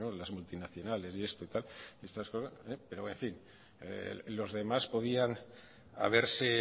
las multinacionales y esto tal y estas cosas pero en fin los demás podían haberse